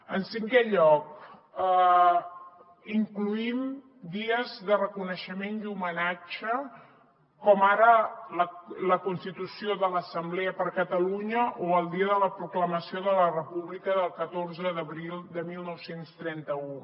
en cinquè lloc incloem dies de reconeixement i homenatge com ara la constitució de l’assemblea per catalunya o el dia de la proclamació de la república del catorze d’abril de dinou trenta u